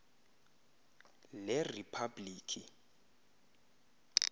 leriphablikhi